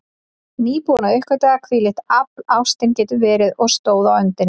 Nýbúin að uppgötva hvílíkt afl ástin getur verið, og stóð á öndinni.